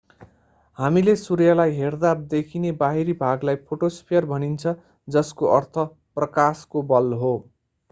हामीले सूर्यलाई हेर्दा देखिने बाहिरी भागलाई फोटोस्फियर भनिन्छ जसको अर्थ प्रकाशको बल हो